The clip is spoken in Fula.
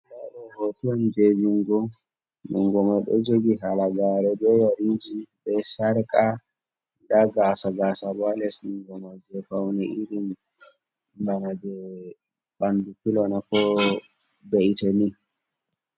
Nda ɗo hoto on je jungo, jungo man ɗo jogi halagare be yeriji, be sharka, nda kasa k bo ga 1bl nungoma je fauni irin bana je bandu 0ilona ko beitami